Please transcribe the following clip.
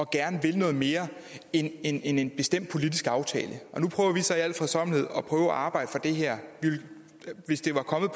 gerne at ville noget mere end en en bestemt politisk aftale nu prøver vi så i al fredsommelighed at arbejde for det her hvis det var kommet